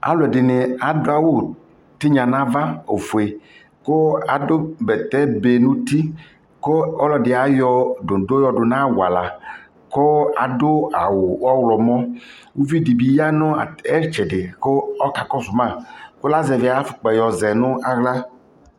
alʋɛdini adʋ awʋ tinya nʋ aɣa ɔƒʋɛ kʋ adʋ bɛtɛ bɛ nʋ ʋti kʋ ɔlɔdi ayɔ dɔndɔ yɔdʋnʋ awala kʋ adʋ awʋ ɔwlɔmʋ, ʋvidibi yanʋ ɛtsɛdɛ kʋ ɔkakɔsʋ ma kʋ azɛvi ayi aƒʋkpa yɔzɛnʋ nʋ ala